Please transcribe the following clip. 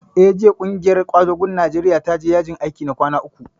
Eh, jiya ƙungiyar ƙwadagon Najeriya ta je yajin aiki na kwana uku